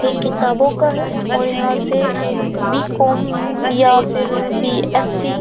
ये किताबों का है और यहां से बी.कॉम या फिर बी.एस.सी --